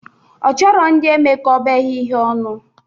Ọ chọrọ ndị emekọbeghi ihe ọnụ